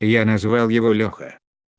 я назвал его лёха